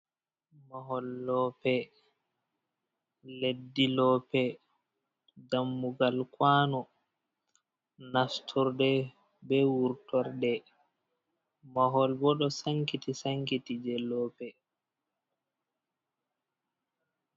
Mahol lope leddi lope dammugal kouno nasturde be wurtorde ,mahol bo do sankiti sankiti je loope.